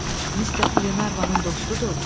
yoxsa mister Qlenarvanın dostudur?